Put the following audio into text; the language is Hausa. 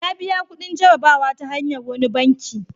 Ya biya kudin jarrabawa ta hanyar wani banki.